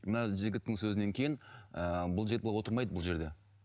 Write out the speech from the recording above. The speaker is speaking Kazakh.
мына жігіттің сөзінен кейін ыыы бұл жігіт бұлай отырмайды бұл жерде